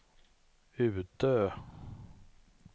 Utö